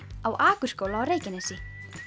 á Akurskóla á Reykjanesi